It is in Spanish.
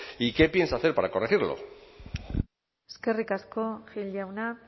y qué piensa hacer para corregirlo eskerrik asko gil jauna